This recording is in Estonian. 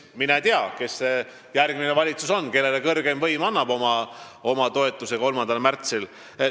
Mine tea, kes see järgmine valitsus on, kellele kõrgeim võim annab 3. märtsil oma toetuse.